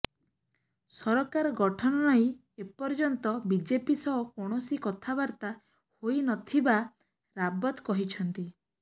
ସରକାର ଗଠନ ନେଇ ଏପର୍ଯ୍ୟନ୍ତ ବିଜେପି ସହ କୌଣସି କଥାବାର୍ତ୍ତା ହୋଇନଥିବା ରାବତ କହିଛନ୍ତି